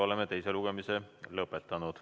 Oleme teise lugemise lõpetanud.